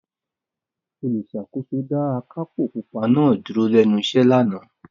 Olùṣàkóso dá akápò pupa náà dúró lẹ́nu iṣẹ́ lánàá.